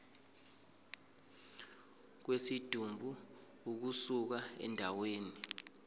kwesidumbu ukusuka endaweni